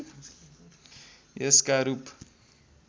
यसका रूप